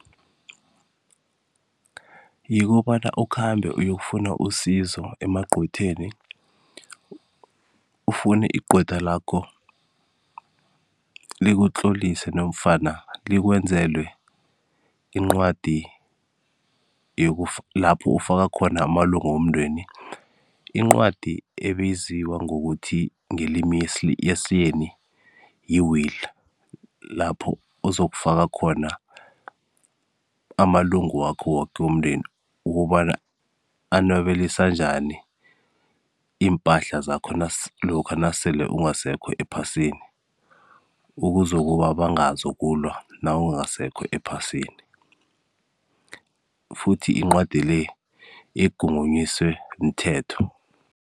Yikobana ukhambe uyokufuna usizo emagcwetheni, ufune igcwetha lakho likutlolise nomfana likwenzele incwadi lapho ufaka khona amalunga womndeni, incwadi ebiziwa ngokuthi ngelimi yesiyeni yi-will, lapho uzokufaka khona amalungu wakho woke womndeni ukobana anwabelisa njani impahla zakho lokha nasele ungasekho ephasini ukuzokuba bangazokulwa nawungasekho ephasini, futhi incwadi le egungunyiswe mthetho.